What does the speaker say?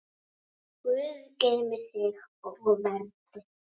Guð geymi þig og verndi.